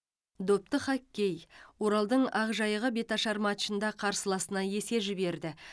допты хоккей оралдың ақжайығы беташар матчында қарсыласына есе жіберді